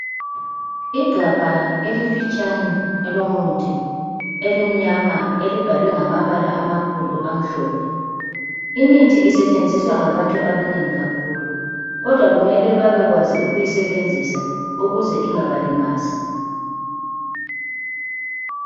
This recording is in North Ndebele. Igabha elifiitshane elomuthi. Elimnyama. Elibhale ngamabala amakhulu amhlophe. Imithi isetshenziswa ngabathu abanengi kakhulu . Kodwa kumele babekwazi ukuyisebenzi ukuze ingabalimazi.